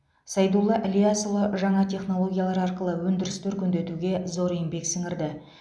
сайдулла ілиясұлы жаңа технологиялар арқылы өндірісті өркендетуге зор еңбек сіңірді